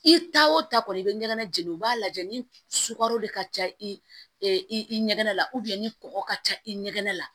I ta o ta kɔni i bɛ ɲɛgɛnna jeni u b'a lajɛ ni sukaro de ka ca i ɲɛgɛnna ni kɔgɔ ka ca i ɲɛgɛnɛ la